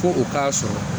Ko u k'a sɔrɔ